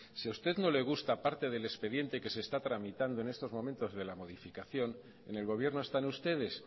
si a usted no le gusta parte del expediente que se está tramitando en estos momentos de la modificación en el gobierno están ustedes